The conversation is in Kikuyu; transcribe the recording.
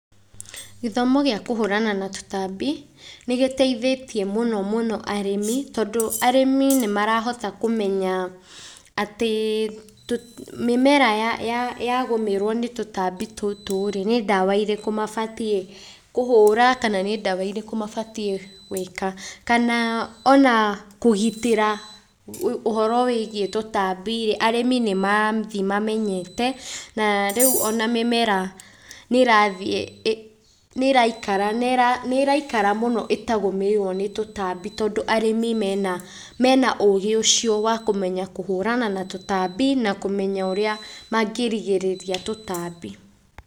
Gĩthomo gĩa kũhũrana na tũtambi nĩ gĩteithĩtie mũno mũno arĩmi tondũ arĩmi nĩ marahota kũmenya atĩ mĩmera yagũmĩrwo nĩ tũtambi tũtũ rĩ, nĩ ndawa irĩkũ mabatiĩ kũhũra kana nĩ ndawa irĩkũ mabatiĩ gũĩka. Kana ona kũgitĩra ũhoro wĩigiĩ tũtambi rĩ, arĩmi nĩ marathiĩ mamenyete na rĩu ona mĩmera nĩ ĩrathiĩ nĩ ĩraikara, nĩ ĩraikara mũno ĩtagũmĩirwo nĩ tũtambi tondũ arĩmi mena ũũgĩ ũcio wa kũmenya kũhũrana na tũtambi na kũmenya ũrĩa mangĩrigĩrĩria tũtambi.